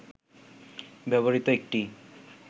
ব্যবহৃত একটি